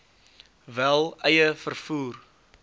wel eie vervoer